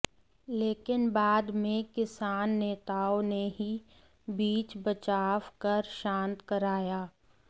लेकिन बाद में किसान नेताओं ने ही बीच बचाव कर शांत कराया